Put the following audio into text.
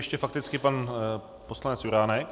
Ještě fakticky pan poslanec Juránek.